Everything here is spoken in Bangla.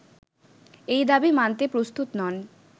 এই দাবি মানতে প্রস্তুত নন